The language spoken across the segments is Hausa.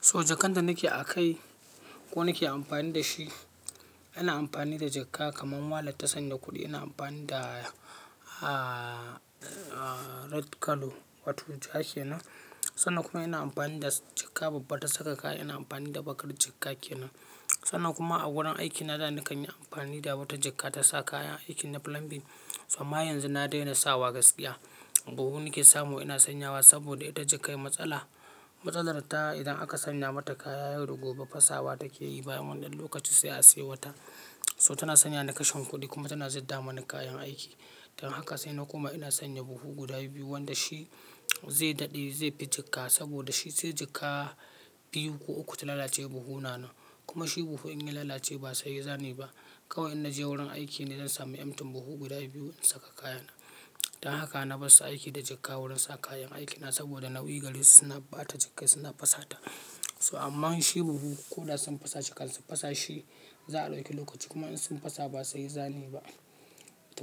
So jakan da nake akai ko nake amfani da shi, ina amfani da jakka kamar wallet ta sanya kuɗi. Ina amfani da wato ja kenan, sannan kuma ina amfani da jakka babba ta saka kaya. Ina amfani da bakar jakka kenan. Sannan kuma a wurin aikina da na kanyi amfani da wata jakka ta sa kayan aikina na plumbing. So amma yanzu na daina sawa gaskiya, buhu nake samu ina sanyawa saboda ita jakka yi matsala. Matsalar ta idan aka sanya mata kaya yau da gobe fasawa take yi bayan wani lokaci sai a siya wata. So tana sanya ni kashin kuɗi kuma tana zadda mani kayan aiki. Dan haka sai na koma ina sanya buhu guda biyu wanda shi zai daɗe zai fi jakka saboda shi sai jakka biyu ko uku ta lalace buhu na nan. Kuma shi buhu in ya lalace ba saye za muyi ba. Kawai in naje wurin aiki ne zan sami emptyn buhu guda biyu in saka kayana. Dan haka na fasa aiki da jakka wurin sa kayan aikina saboda nauyi garesu suna ɓata jakka suna fasawa ta. So amma shi buhu ko da sun fasa kafin su fasashi za a ɗauki lokaci kuma in sun fasa ba sai ya zane ba.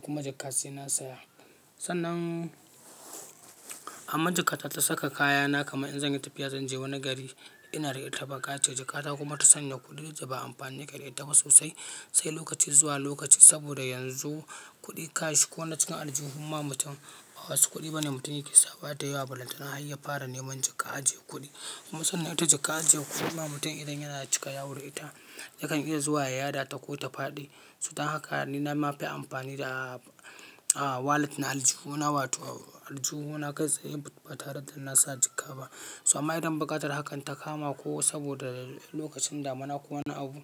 Kuma jakka sai na saya. Sannan amma jakata ta saka kayana kama in zan yi tafiya zan je wani gari ina da ita ɓaka ce jakata kuma ta sanya kuɗi da ba amfani ke da ita ba sosai. Sai lokaci zuwa lokaci saboda yanzu kuɗi cash ko na cikin aljihun ma mutum ba wasu kuɗi bane mutum yake sama dayawa ballantana har ya fara neman jakka ajiye kuɗi. Kuma sannan ita jakka ajiye kuɗi ma mutum idan yana cika ya wuri ita, yakan iya zuwa ya yada ta ko ta faɗi. So dan haka ni na ma fi amfani da na aljuhu na wato aljuhu na gaske ba tare da nasa jakka ba. To amma idan buƙatar hakan ta kama saboda ko lokacin damuna ko wani abu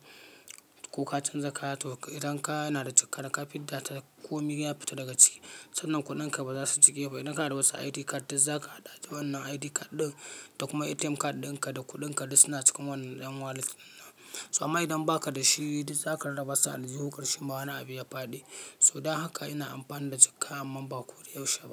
ko ka canza kaya toh idan kaya yana da jakka naka fidda ta komai ya fita daga ciki. Sannan kuɗinka baza su jige ba idan ka da wata ID card dai zak a hada wannan ID card ɗin da kuma ATM card ɗinka da kuɗinka dai suna cikin wannan ƴan wallet nan. To amma idan baka da shi duk zaka raba su aljihun karshe ma wani abu ya faɗi. So dan haka ina amfani da jakka amman ba ko da yaushe ba.